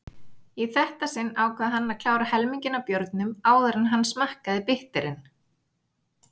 Í þetta sinn ákvað hann klára helminginn af bjórnum áður en hann smakkaði bitterinn.